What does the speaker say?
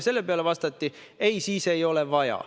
Selle peale vastati: "Ei, siis ei ole vaja.